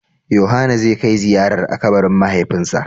Yohana zai kai ziyarar a kabarin mahaifinsa.